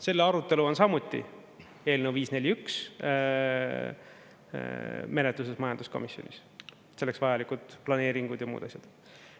Selle arutelu on samuti – eelnõu 541 – menetluses majanduskomisjonis, selleks vajalikud planeeringuid ja muud asjad.